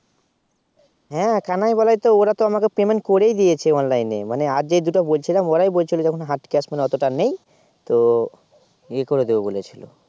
হ্যাঁ কানাই বলাই তো তোরা তো আমাকে Payment করেই দিয়েছে Online এ মানে আর যে দুটো বলছিলাম ওরাই বলছিল যে এখন Hard Cash অতটা নেই তো ই করে দেবে বলেছিল